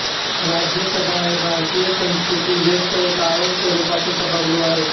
राज्यसभा हे भारतीय संसदेतील जेष्ठ व कायमस्वरुपाचे सभागृह आहे